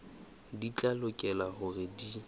di tla lokela hore di